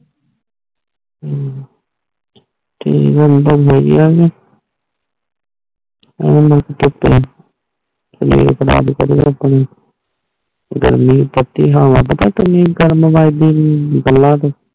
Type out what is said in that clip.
ਕਿ ਬੰਦਾ ਕੋਈ ਗੱਲ ਨਾਈ ਕ਼ਈਜ਼ ਬਣਾ ਦਿੱਤੀ ਆਪਣੀ ਗਰਮੀ ਬੋਟੀ ਹੋਵੇ ਪਤਾ ਕਿ ਕਾਰਨ ਵੱਜਦੀ ਸੀ ਗੱਲਾਂ ਤੇ